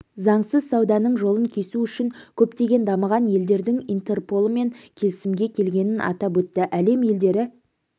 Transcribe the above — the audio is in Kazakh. заңсыз сауданың жолын кесу үшін көптеген дамыған елдердің интерполмен келісімге келгенін атап өтті әлем елдері